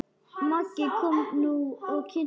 Maggi kom nú og kynnti.